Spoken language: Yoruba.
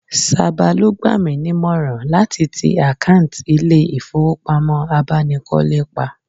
Saba ló gbà mí nímọ̀ràn láti tì àkáǹt ilè ifowopamo abánikọ́lé pa